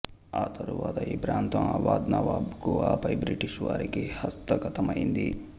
ఆ తరువాత ఈ ప్రాంతం అవధ్ నవాబుకు ఆ పై బ్రిటిషు వారికీ హస్తగతమైంది